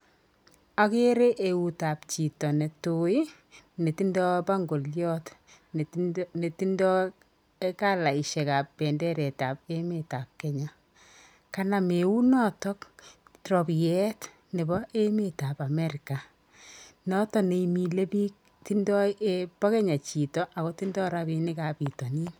Akere eutab chito ne tui, netindoi bangoliot, netindoi kalaishekab benderetab emetab kenya, kanam eunoto robieet nebo emetab amerika, noto ne imile biik, bo Kenya chito ako tindoi rabiinikab pitonin.